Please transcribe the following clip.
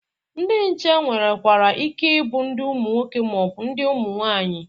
Ndị nche nwerekwara ike ịbụ ndị nwoke ma ọ bụ ndị nwaanyị.